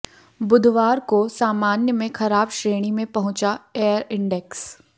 बुधवार को सामान्य में खराब श्रेणी में पहुंचा एयर इंडेक्स